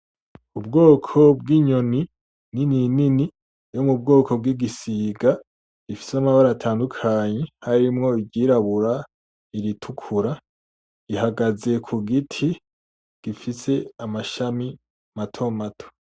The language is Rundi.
Ubwoko bw'inyoni nini nini bwo mu bwoko bwigisiga bufise amabara atandukanye harimwo iryirabura iritukura ihagaze kugiti gifise amashami matomato